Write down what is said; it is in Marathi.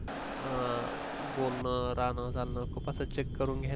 अ बोलणं राहणं झालं खूप असं check करून घ्यायला